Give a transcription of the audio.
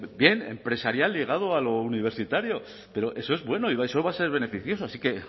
bien empresarial ligado a lo universitario pero eso es bueno y eso va a ser beneficioso así que